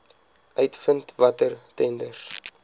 uitvind watter tenders